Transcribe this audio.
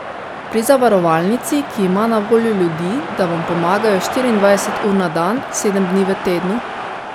Pri zavarovalnici, ki ima na voljo ljudi, da vam pomagajo štiriindvajset ur na dan, sedem dni v tednu.